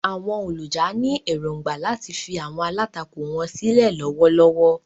Àwọn olùjà ní èrògbà láti fi àwọn alátakò wọn sílẹ̀ lọ́wọ́lọ́wọ́.